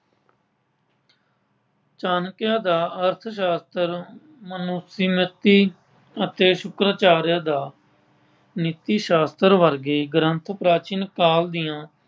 ਚਾਣਕਿਆ ਦਾ ਅਰਥਸ਼ਾਸਤਰ ਅਤੇ ਸ਼ੁਕਰਾਚਾਰੀਆ ਦਾ ਨੀਤੀ ਸ਼ਾਸਤਰ ਵਰਗੇ ਗ੍ਰੰਥ ਪ੍ਰਾਚੀਨ ਕਾਲ ਦੀਆਂ